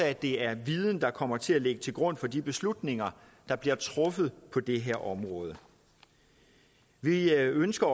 at det er viden der kommer til at ligge til grund for de beslutninger der bliver truffet på det her område vi ønsker